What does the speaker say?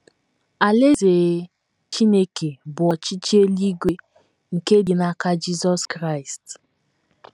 Alaeze Chineke bụ ọchịchị eluigwe nke dị n’aka Jizọs Kraịst.